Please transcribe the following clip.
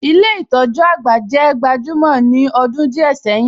Ilé ìtójú àgbà jẹ́ gbajúmọ̀ ní ọdún díẹ̀ sẹ́yìn.